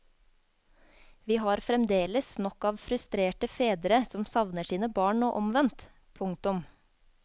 Vi har fremdeles nok av frustrerte fedre som savner sine barn og omvendt. punktum